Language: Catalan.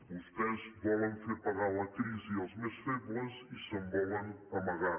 vostès volen fer pagar la crisi als més febles i se’n volen amagar